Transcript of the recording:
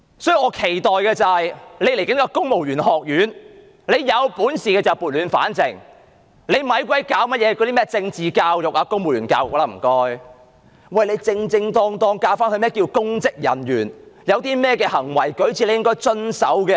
所以，我期待局長藉着將要成立的公務員學院撥亂反正，不要再做甚麼政治教育、公務員教育，只需要正正當當地教導何謂公職人員，公務員有甚麼行為舉止需要遵守便可。